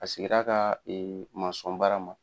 A sigir'a kaa baara ma.